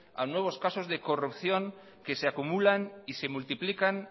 a nuevos casos de corrupción que se acumulan y se multiplican